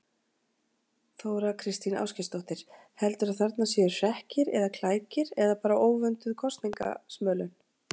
Þóra Kristín Ásgeirsdóttir: Heldurðu að þarna séu hrekkir eða klækir eða bara óvönduð kosningasmölun?